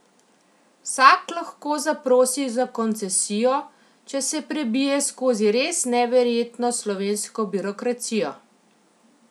Vsak lahko zaprosi za koncesijo, če se prebije skozi res neverjetno slovensko birokracijo.